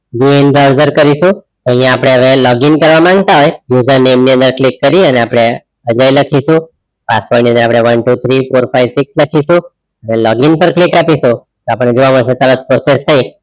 go and browser કરીશું અહિયાં આપડે હવે log in કરવાં માંગતા હોય તો username ની અંદર click કરીને આપડે એટલે અહીં લખીશું password ની અંદર આપડે one two three four five six લખીશું અને log in પર click આપીશું તો આપણને જોવા મળશે કે તરત process થઈ.